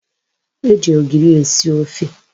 E ji ogiri esi ofe